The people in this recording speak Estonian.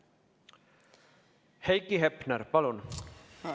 Heiki Hepner, palun!